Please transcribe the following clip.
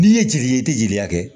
N'i ye jeli ye i tɛ jeliya kɛ